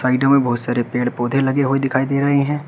Video में बहुत सारे पेड़ पौधे लगे हुए दिखाई दे रहे हैं।